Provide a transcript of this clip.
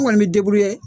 An kɔni bɛ